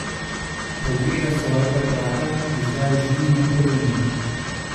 Pogleda svojega brata, ki zdaj ždi na kolenih.